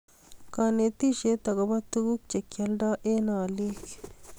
Konetisiet agobo tuguk che kialdoi eng olik